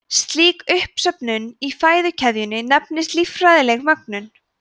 slík uppsöfnun í fæðukeðjunni nefnist líffræðileg mögnun